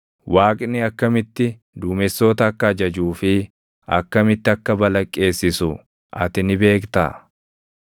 Waaqni akkamitti duumessoota akka ajajuu fi akkamitti akka balaqqeessisu ati ni beektaa?